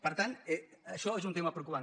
per tant això és un tema preocupant